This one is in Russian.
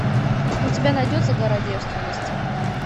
у тебя найдется гора девственности